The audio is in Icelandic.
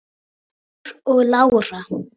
Þór og Lára.